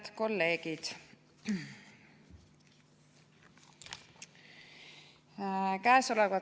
Head kolleegid!